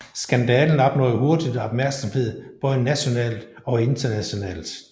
Skandalen opnåede hurtigt opmærksomhed både nationalt og internationalt